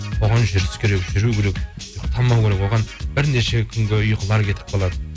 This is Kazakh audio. оған жүріс керек жүру керек тоқтаму керек оған бірнеше күнгі ұйқылар кетіп қалады